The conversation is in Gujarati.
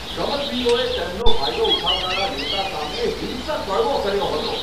રમતવીરોએ તેમનો ફાયદો ઉઠાવનારા નેતા સામે હિંસક બળવો કર્યો હતો.